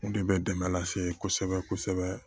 O de bɛ dɛmɛ lase kosɛbɛ kosɛbɛ